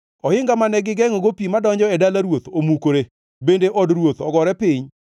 Ohinga mane gigengʼogo pi madonjo e dala ruoth omukore, bende od ruoth ogore piny.